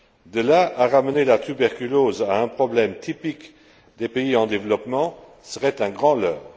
De là à ramener la tuberculose à un problème typique des pays en développement, ce serait un grand leurre.